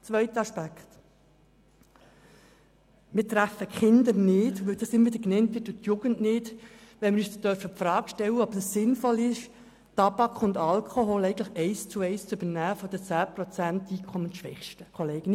Zum zweiten Aspekt: Wir treffen die Kinder nicht, wenn wir uns die Frage stellen, ob es sinnvoll ist, Tabak und Alkohol eins zu eins von den 10 Prozent Einkommensschwächsten zu übernehmen.